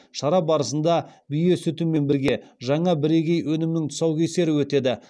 шара барысында бие сүтімен бірге жаңа бірегей өнімнің тұсаукесері өтеді